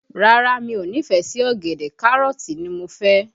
Rárá, mi ò nífẹ̀ẹ́ sí ọ̀gẹ̀dẹ̀, Kárọ̀tì ni mo fẹ́